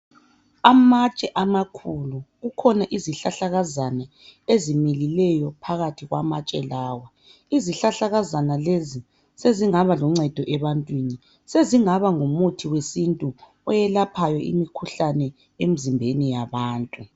Amatshe amakhulu, kukhona izihlahlakazana ezimilileyo phakathi kwamatshe lawa. Izihlahlakazana lezi sezingaba luncedo ebantwini, sezingaba ngumuthi wesintu oyelaphayo imikhuhlane emzimbeni yabantu.